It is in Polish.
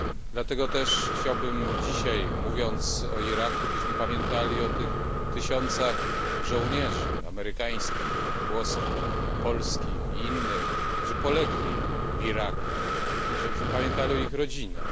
Dlatego chciałbym dzisiaj, mówiąc o Iraku, abyśmy pamiętali o tysiącach żołnierzy amerykańskich, włoskich, polskich i innych, którzy polegli w Iraku, i żebyśmy pamiętali o ich rodzinach.